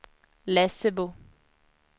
Lessebo